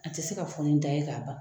An ti se ka fɔ ni da ye ka ban.